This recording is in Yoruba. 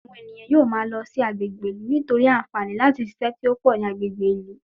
Àwọn ènìyàn yóò máa lọ sí agbègbè ìlú, nítorí àǹfààní láti ṣiṣẹ́ tí ó pọ̀ ní agbègbè ìlú